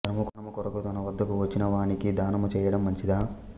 దానము కొరకు తన వద్దకు వచ్చి వానికి దానము చెయ్యడం మంచిదా